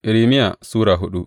Irmiya Sura hudu